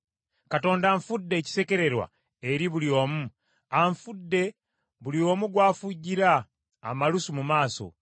“Katonda anfudde ekisekererwa eri buli omu, anfudde buli omu gw’afujjira amalusu mu maaso.